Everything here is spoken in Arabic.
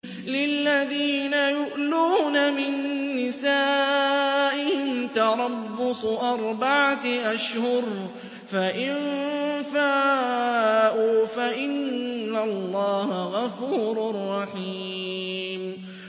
لِّلَّذِينَ يُؤْلُونَ مِن نِّسَائِهِمْ تَرَبُّصُ أَرْبَعَةِ أَشْهُرٍ ۖ فَإِن فَاءُوا فَإِنَّ اللَّهَ غَفُورٌ رَّحِيمٌ